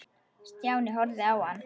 Stjáni horfði á hann.